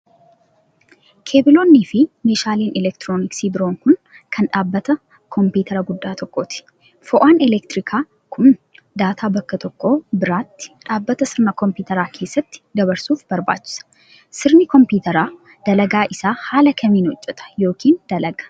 Keebiloonni fi meeshaaleen elektirooniksii biroo kun, kan dhaabbata koompiitaraa guddaa tokkooti. Fo'aan elektirikaa kun, daataa bakka tokko biraatti dhaabbata sirna kompiitaraa keessatti dabarsuuf barbaachisa. Sirni kompiitaraa dalagaa isa haala kamiin hojjata yokin dalaga?